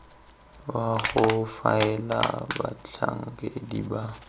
wa go faela batlhankedi ba